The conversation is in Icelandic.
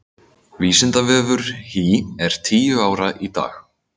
Vísindavefur HÍ er tíu ára í dag.